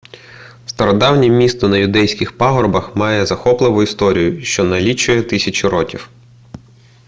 стародавнє місто на юдейських пагорбах має захопливу історію що налічує тисячі років